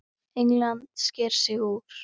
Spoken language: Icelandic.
England sker sig úr.